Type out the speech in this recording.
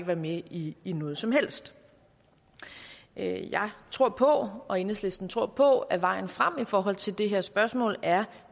være med i i noget som helst jeg tror på og enhedslisten tror på at vejen frem i forhold til det her spørgsmål er